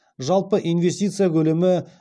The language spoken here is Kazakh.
жалпы инвестиция көлемі